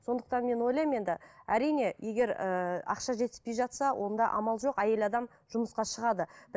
сондықтан мен ойлаймын енді әрине егер ііі ақша жетіспей жатса онда амал жоқ әйел адам жұмысқа шығады